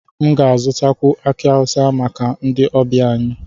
M ga-azụtakwu aki awusa maka ndị ọbịa anyị